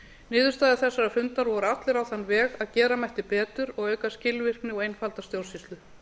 niðurstaða þessara funda var öll á þann veg að gera mætti betur og auka skilvirkni og einfalda stjórnsýslu